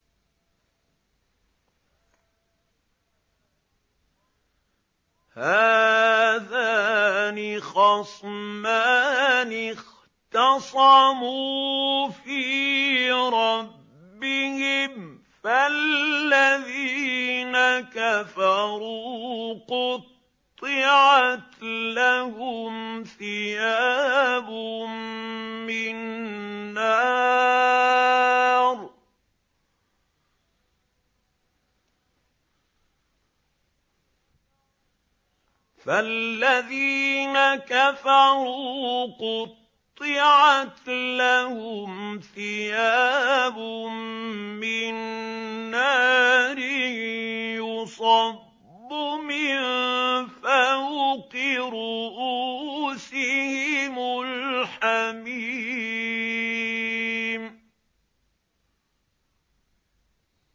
۞ هَٰذَانِ خَصْمَانِ اخْتَصَمُوا فِي رَبِّهِمْ ۖ فَالَّذِينَ كَفَرُوا قُطِّعَتْ لَهُمْ ثِيَابٌ مِّن نَّارٍ يُصَبُّ مِن فَوْقِ رُءُوسِهِمُ الْحَمِيمُ